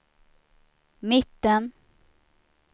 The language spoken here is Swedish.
mitten